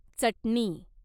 चटणी